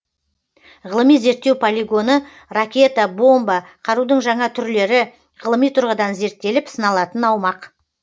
ғылыми зерттеу полигоны ракета бомба қарудың жаңа түрлері ғылыми тұрғыдан зерттеліп сыналатын аумақ